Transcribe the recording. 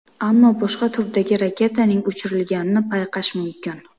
Ammo boshqa turdagi raketaning uchirilganini payqash mumkin.